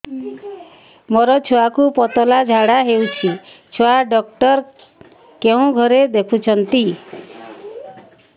ମୋର ଛୁଆକୁ ପତଳା ଝାଡ଼ା ହେଉଛି ଛୁଆ ଡକ୍ଟର କେଉଁ ଘରେ ଦେଖୁଛନ୍ତି